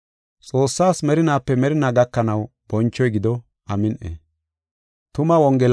Xoossaas Merinaape merinaa gakanaw bonchoy gido. Amin7i.